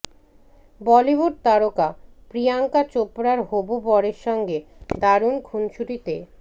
বলিউড তারকা প্রিয়াঙ্কা চোপড়ার হবু বরের সঙ্গে দারুণ খুনসুটিতে